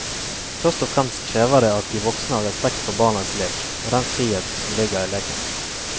Først og fremst krever det at de voksne har respekt for barnas lek og den friheten som ligger i leken.